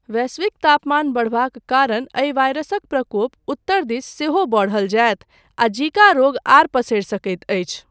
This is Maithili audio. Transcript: वैश्विक तापमान बढबाक कारण एहि वायरसक प्रकोप उत्तर दिस सेहो बढल जायत, आ जीका रोग आर पसरि सकैत अछि।